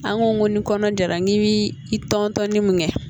An ko ni kɔnɔ jara n k'i bi i tɔntɔnni mun kɛ